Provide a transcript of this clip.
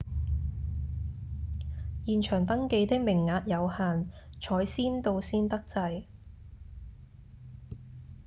現場登記的名額有限採先到先得制